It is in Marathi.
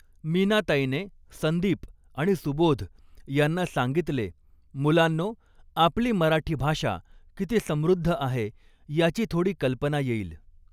मीनाताईने संदीप आणि सुबोध यांना सांगितले मुलांनो आपली मराठी भाषा किती समृद्ध आहे याची थोडी कल्पना येईल.